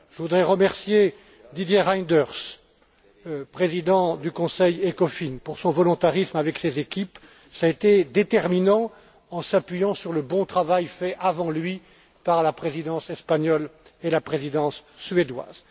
Je voudrais remercier Didier Reynders, président du Conseil ECOFIN, pour son volontarisme avec ses équipes cela a été déterminant sur la base du bon travail fait, avant lui, par la Présidence espagnole et la Présidence suédoise.